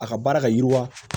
A ka baara ka yiriwa